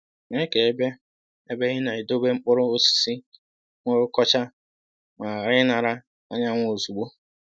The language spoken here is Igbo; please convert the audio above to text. Mee ka ebe ị ebe ị na-edobe mkpụrụ osisi nwee ụkọcha ma ghara inara anyanwụ ozugbo